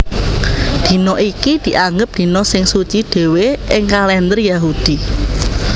Dina iki dianggep dina sing suci dhéwé ing kalènder Yahudi